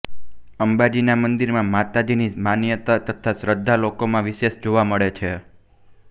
અંબાજીના મંદિરમાં માતાજીની માન્યતા તથા શ્રદ્ધા લોકોમાં વિશેષ જોવા મળે છે